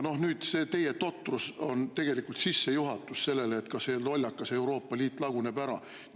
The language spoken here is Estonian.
Noh, see teie totrus on tegelikult sissejuhatus sellele, et ka see lollakas Euroopa Liit laguneb ära.